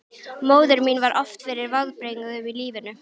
Móðir mín varð oft fyrir vonbrigðum í lífinu.